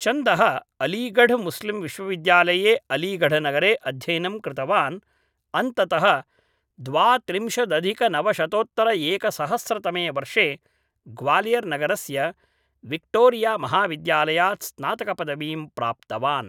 चन्दः अलीगढमुस्लिमविश्वविद्यालये अलीगढनगरे अध्ययनं कृतवान् अन्ततः द्वात्रिंशदधिकनवशतोत्तरएकसहस्रतमे वर्षे ग्वालियर् नगरस्य विक्टोरियामहाविद्यालयात् स्नातकपदवीं प्राप्तवान्